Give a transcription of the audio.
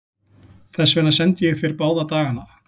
Þess vegna sendi ég þér báða dagana.